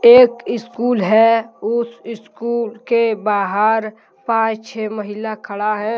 एक स्कूल है उस स्कूल के बाहर पांच छे महिला खड़ा है।